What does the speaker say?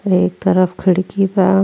अर एक तरफ खिड़की बा।